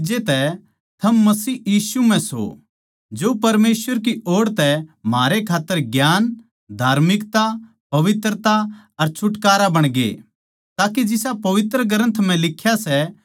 परमेसवर के जरिये किए गये काम के नतिज्जें तै थम मसीह यीशु म्ह सो जो परमेसवर की ओड़ तै म्हारै खात्तर ज्ञान धार्मिकता पवित्रता अर छुटकारा बणगे